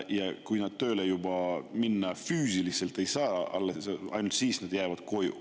Ja alles siis, kui nad füüsiliselt tööle minna ei saa, jäävad nad koju.